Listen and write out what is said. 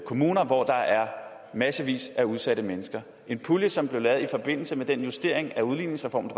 kommuner hvor der er massevis af udsatte mennesker en pulje som blev lavet i forbindelse med den justering af udligningsreformen